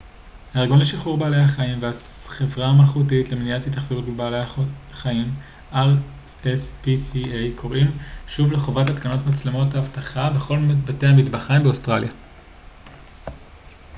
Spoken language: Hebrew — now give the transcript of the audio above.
הארגון לשחרור בעלי החיים והחברה המלכותית למניעת התאכזרות בבעלי חיים rspca קוראים שוב לחובת התקנת מצלמות אבטחה בכל בתי המטבחיים באוסטרליה